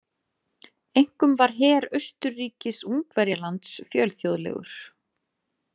Einkum var her Austurríkis-Ungverjalands fjölþjóðlegur.